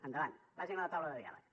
endavant vagin a la taula de diàleg